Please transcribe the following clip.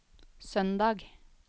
søndag